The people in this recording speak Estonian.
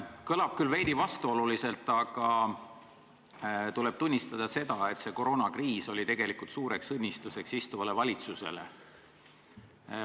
Kõlab küll veidi vastuoluliselt, aga tuleb tunnistada seda, et koroonakriis oli suureks õnnistuseks istuvale valitsusele.